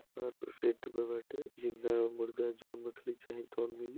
Seat पे बेठे जिंदा मुर्दा जोन मछ्ली चाही तौन मिली।